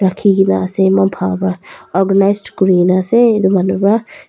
rakhi kene ase eman bal ra organised kuri kene ase etu manu para.